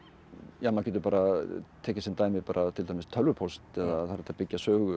maður getur tekið sem dæmi bara til dæmis tölvupóst það er hægt að byggja sögu á